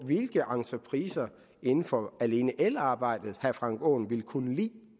hvilke entrepriser inden for alene elarbejde herre frank aaen vil kunne lide